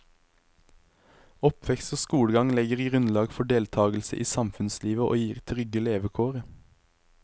Oppvekst og skolegang legger grunnlag for deltagelse i samfunnslivet og gir trygge levekår.